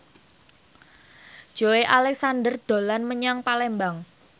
Joey Alexander dolan menyang Palembang